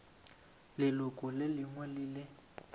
leloko le lengwe le le